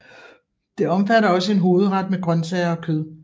Det omfatter også en hovedret med grøntsager og kød